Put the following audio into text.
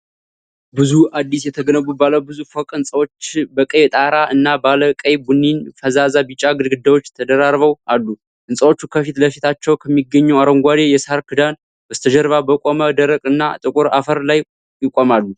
ብዙ አዲስ የተገነቡ ባለ ብዙ ፎቅ ሕንፃዎች በቀይ ጣራ እና ባለ ቀይ ቡኒና ፈዛዛ ቢጫ ግድግዳዎች ተደራርበው አሉ። ሕንፃዎቹ ከፊት ለፊታቸው ከሚገኘው አረንጓዴ የሳር ክዳን በስተጀርባ በቆመ ደረቅ እና ጥቁር አፈር ላይ ይቆማሉ።